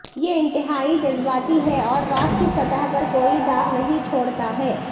یہ انتہائی جذباتی ہے اور راک کی سطح پر کوئی داغ نہیں چھوڑتا ہے